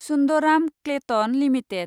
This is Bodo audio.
सुन्दराम क्लेटन लिमिटेड